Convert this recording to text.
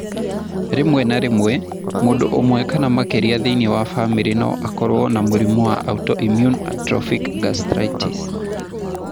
Rĩmwe na rĩmwe, mũndũ ũmwe kana makĩria thĩinĩ wa famĩlĩ no akorũo na mũrimũ wa autoimmune atrophic gastritis.